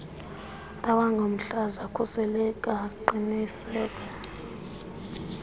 awangomhlaza khuseleka qiniseka